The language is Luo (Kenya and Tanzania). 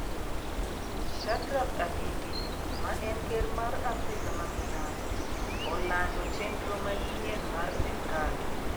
Shadrack Apindi, ma en Ker mar Africa ma milambo, olando chenro manyien mar sirkal